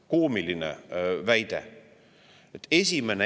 Koomiline väide!